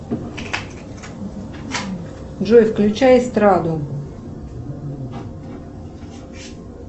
джой включай эстраду